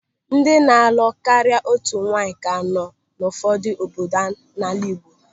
Ndị na-alụ karịa otu nwaanyị ka nọ n'ụfọdụ obodo n'ala Igbo.